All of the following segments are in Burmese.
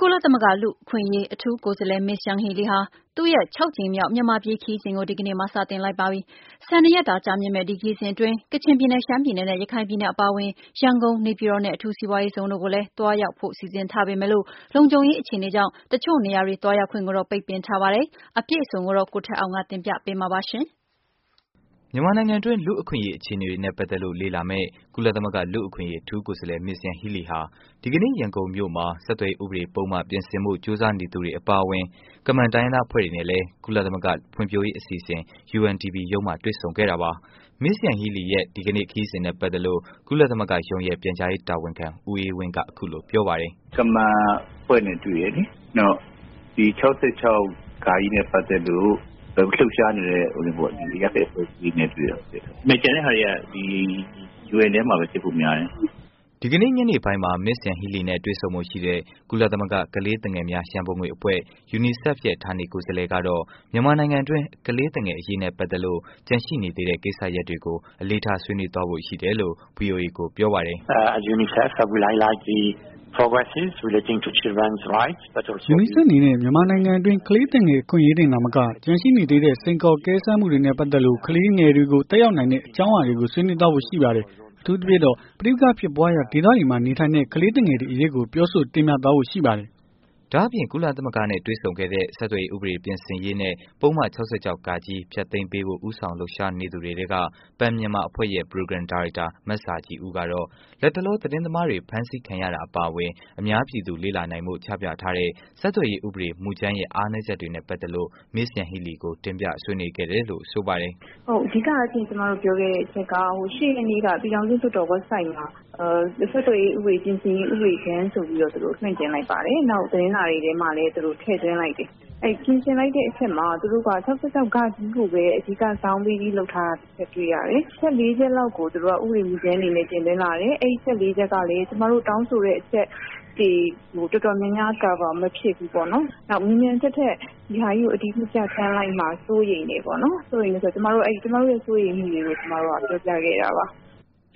ကုလသမဂ္ဂ လူ့အခွင့်အရေး အထူးကိုယ်စားလှယ် Ms.Yanghee Lee ဟာ သူမရဲ့ ၆ ကြိမ်မြောက် မြန်မာပြည် ခရီးစဉ်ကို ဒီကနေ့မှာ စတင်လိုက်ပါပြီ။ ၁၂ ရက်တာ ကြာမြင့်မယ့် ဒီခရီးစဉ်အတွင်း ကချင်ပြည်နယ်၊ ရှမ်းပြည်နယ်နဲ့ ရခိုင်ပြည်နယ်အပါအဝင် ရန်ကုန်၊ နေပြည်တော်နဲ့ အထူးစိးပွားရေးဇုန်တို့ကို လည်း သွားရောက်ဖို့ စီစဉ်ထားပေမယ့်လို့ လုံခြုံရေး အခြေအနေကြောင့် တစ်ချို့နေရာတွေ သွားရောက်ခွင့်ကိုတော့ ပိတ်ပင်ထားပါတယ်။ အပြည့်အစုံကိုတော့ ဆက်သွယ်မေးမြန်းထားတဲ့ ဗွီအိုအေ မြန်မာပိုင်း သတင်းထောက် ကိုထက်အောင်က တင်ပြပေးမှာပါ။ မြန်မာနိုင်ငံတွင်း လူ့အခွင့်အရေး အခြေအနေတွေနဲ့ ပတ်သက်လို့ လေ့လာမယ့် ကုလသမဂ္ဂ လူ့အခွင့်အရေး အထူးကိုယ်စားလှယ် Ms.Yanghee Lee ဟာ ဒီကနေ့ ရန်ကုန်မြို့မှာ ဆက်သွယ်ရေး ဥပဒေ ပုဒ်မ ပြင်ဆင်ဖီု့ ကြိုးစားနေတဲ့သူတွေအပါအဝင် ကမန်တိုင်းရင်းသား အဖွဲ့တွေနဲ့လည်း ကုလသမဂ္ဂ ဖွံဖြိုးရေးအစီအစဉ် UNDP ရုံးမှာ တွေ့ခဲ့ပါတယ်။ Ms.Yanghee Lee ရဲ့ ဒီကနေ့ ခရီးစဉ်နဲ့ ပတ်သက်လို့ ကုလသမဂ္ဂရုံးရဲ့ ပြန်ကြားရေး တာဝန်ခံ ဦးအေးဝင်းက အခုလို ပြောပါတယ်။ “ကမန်အဖွဲ့နဲ့တွေ့တယ်လေ။နောက်ပြီး ၆၆ ပတ်သက်လို့လှုပ်ရှားနေတဲ့ ဟိုနင်းပေ့ါ ဒီအရပ်ဖက်အဖွဲ့အစည်း တွေနဲ့တွေ့တယ်။ ကျန်တဲ့ဟာတွေက ဒီ UN ထဲမှာပဲဖြစ်ဖို့များတယ်။” ဒီကနေ့ ညနေပိုင်းမှာ Ms.Yanghee Lee နဲ့ တွေ့ဆုံဖို့ရှိတဲ့ ကုလသမဂ္ဂ ကလေးသူငယ်များရန်ပုံငွေအဖွဲ့ UNICEF ဌာနေကိုယ်စားလှယ်ကတော့ မြန်မာနိုင်ငံတွင်း ကလေးသူငယ်အရေးနဲ့ ပတ်သက်လို့ ကျန်ရှိနေသေးတဲ့ ကိစ္စရပ်တွေကို အလေးထား ဆွေးနွေးဖို့ ရှိတယ်လို့ ဗွီအိုအေကို ပြောပါတယ်။ “UNICEF အနေနဲ့ မြန်မာနိုင်ငံတွင်း ကလေးသူငယ်အခွင့်အရေးတွေတင်သာမက ကျန်ရှိနေသေးတဲ့ စိန်ခေါ်အကဲစမ်းမှုတွေနဲ့ ပတ်သက်လို့ ကလေးတွေကို သက်ရောက်နိုင်တဲ့ အကြောင်းအရာတွေကို ဆွေးနွေးသွားဖို့ ရှိပါတယ်။ အထူးသဖြင့်တော့ ပဋိပက္ခာတွေ ဖြစ်ပွားရာ ဒေသတွေမှာ နေထိုင်တဲ့ ကလေးသူငယ်တွေအရေးကို ပြောဆို တင်ပြသွားဖို့ ရှိပါတယ်။” ဒါ့အပြင် ကုလအထူးကိုယ်စားလှယ်နဲ့ တွေ့ဆုံခဲ့တဲ့ ဆက်သွယ်ရေး ဥပဒေ ပြင်ဆင်ရေး နဲ့ ပုဒ်မ ၆၆ ဃ ဖျက်သိမ်းပေးဖို့ ဦးဆောင်လုပ်ရှားနေတဲ့ သူတွေထဲက Pen Myanmar အဖွဲ့ရဲ့ ပရိုဂရမ် ဒါရိုက်တာ မဇာခြည်ဦးကတော့ လက်တလော သတင်းသမားတွေ ဖမ်းဆီးခံရတာအပါအဝင် အများပြည်သူ လေ့လာနိုင်ဖို့ ချပြထားတဲ့ ဆက်သွယ်ရေး ဥပဒေမူကြမ်းရဲ့ အားနည်းချက်တွေနဲ့ ပတ်သက်လို့ Ms.Yanghee Lee ကို တင်ပြဆွေးနွေးခဲ့တယ်လို့ ဆိုပါတယ်။ “ဟုတ်။ အဓိကရှင့်ကျွန်မတို့ပြောခဲ့တဲ့အချက်က ဟို ၈ ရက်နေ့ကပြည်ထောင်စုလွှတ်တော် Websiteမှာ ဆက်သွယ်ရေးဥပဒေပြင်ဆင်ရေး ဥပဒေကြမ်းဆိုပြီးတော့ သူတို့လွှင့်တင်လိုက်ပါတယ်။ နောက်သူတို့သတင်းစာတွေထဲမှာလည်းထည့်သွင်းလိုက်တယ်။အဲ့ပြင်ဆင်လိုက်တဲ့အထဲမှာ သူတို့က ၆၆ ကိုပဲ အဓိကဇောင်းပေးပြီးလုပ်ထားတာတွေ့ရတယ်။ အချက် ၄ ချက်လောက်ကို ဥပဒေကြမ်းဆိုပြီးတင်သွင်း လာတယ်။ အဲ့အချက် ၄ ချက်ကလည်း ကျွန်မတို့တောင်းဆိုတဲ့အချက် ဒီတော်တော်များများ Cover မဖြစ်ဘူး ပေါ့နော်။ နောက်မြန်မြန်ထက်ထက် ဒီဟာကြီးကိုအတည်ပြုပြဌာန်းလိုက်မှာစိုးရိမ်တယ်ပေါ့နော်။ စိုးရိမ်တယ်ဆိုတော့ ကျွန်မတို့ရဲ့အဲ့စိုးရိမ်မှုတွေကို ကျွန်မတို့ကပြောပြခဲ့တာပါ။”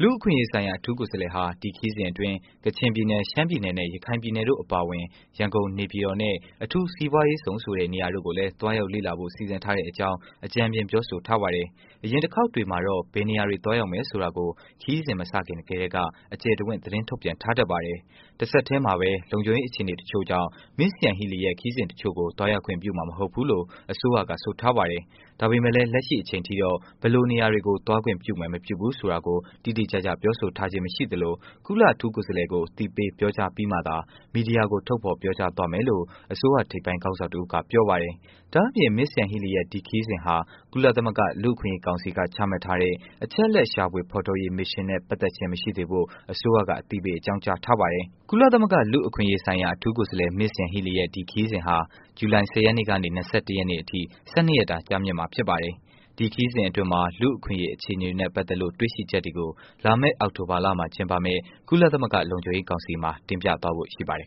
လူ့အခွင့်အရေး ဆိုင်ရာ အထူးကိုယ်စားလှယ်ဟာ ဒီခရီးစဉ်အတွင်း ကချင်ပြည်နယ်၊ ရှမ်းပြည်နယ် နဲ့ ရခိုင်ပြည်နယ်တို့အပါအဝင် ရန်ကုန်နဲ့ နေပြည်တော်နဲ့ အထူးစိးပွားရေးဇုန်ဆိုတဲ့ နေရာတို့ကို သွားရောက်လေ့လာဖို့ စီစဉ်ထားတဲ့အကြောင့် အကြမ်းဖျင်း ပြောဆိုထားပါတယ်။ အရင်တစ်ခေါက်တွေမှာတော့ ဘယ်နေရာတွေ သွားရောက်မယ်ဆိုတာကို ခရီးစဉ်မစခင်ကတည်းက အကျယ်တဝင့် သတင်းထုတ်ပြန်ထားတတ်ပါတယ်။ တစ်ဆက်တည်းမှာပဲ လုံခြုံရေး အခြေအနေတစ်ချို့ကြောင့် Ms.Yanghee Lee ရဲ့ ခရီးစဉ်တစ်ချို့ကို သွားရောက်ခွင့် ပြုမှာ မဟုတ်ဘူးလို့ အစိုးရက ဆိုထားပါတယ်။ ဒါပေမယ့်လည်း လက်ရှိအချိန်ထိတော့ ဘယ်လိုနေရာတွေကို သွားခွင့်ပြုမယ် မပြုဘူးဆိုတာကို တိတိကျကျ ပြောဆိုထားခြင်း မရှိသလို ကုလအထူးကိုယ်စားလှယ်ကို အသိပေး ပြောကြားပြီးမှသာ မီဒီယာကို ထုတ်ဖော်ပြောကြားသွားမယ်လို့ အစိုးရ ထိပ်ပိုင်းခေါင်းဆောင်တစ်ဦးက ပြောပါတယ်။ ဒါ့အပြင် Ms.Yanghee Lee ရဲ့ ဒီခရီးစဉ်ဟာ ကုလသမဂ္ဂ လူ့အခွင့်အရေး ကောင်စီက ချမှတ်ထားတဲ့ အချက်အလက် ရှာဖွေဖော်ထုတ်ရေး မစ်ရှင်နဲ့ ပတ်သက်ခြင်း မရှိစေဖို့ အစိုးရက အသိပေး အကြောင်းကြားထားပါတယ်။ ကုလသမဂ္ဂ လူ့အခွင့်အရေးဆိုင်ရာ အထူးကိုယ်စားလှယ် Ms.Yanghee Lee ရဲ့ ဒီခရီးစဉ်ဟာ ဇူလိုင် ၁၀ ရက်နေ့ကနေ ၂၁ ရက်နေ့အထိ ၁၂ ရက်တာ ကြာမြင့်မှာ ဖြစ်ပါတယ်။ ဒီခရီးစဉ်အတွင်း လူ့အခွင့်အရေးအခြေအနေတွေနဲ့ ပတ်သက်လို့ တွေ့ရှိချက်တွေကို လာမယ့် အောက်တိုဘာလမှာ ကျင်းပမယ့် ကုလသမဂ္ဂ လုံခြုံရေးကောင်စီမှာ တင်ပြသွားဖို့ ရှိပါတယ်